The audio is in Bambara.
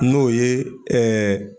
N'o ye .